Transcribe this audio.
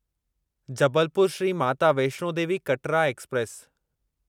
Jabalpur Shri Mata Vaishno Devi Katra express